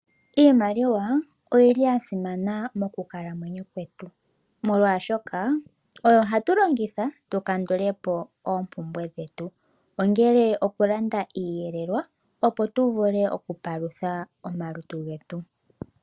Iimaliwa oya simana mokukalamwenyo kwetu, molwaashoka oyo hatu longitha tu kandule po oompumbwe dhetu ongele okulanda iiyelelwa, opo tu vule okupalutha omalutu getu.